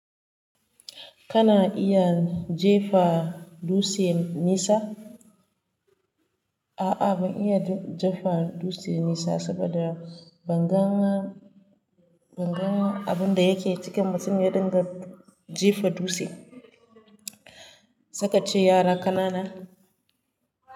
Kana iya jefa dutse nisa? A'a, ban iya jefa dutse nesa saboda banga banga abin da yake cikin mutum ya dinga jefa dutse. Saikace yara ƙanana.